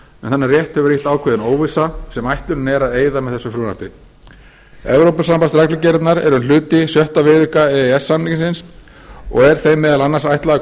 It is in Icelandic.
rétt hefur ríkt ákveðin óvissa sem ætlunin er að eyða með þessu frumvarpi evrópureglugerðirnar eru hluti sjötta viðauka e e s samningsins og er þeim meðal annars ætlað að koma